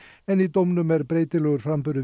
en í dómnum er breytilegur framburður